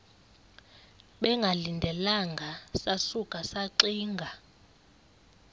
bengalindelanga sasuka saxinga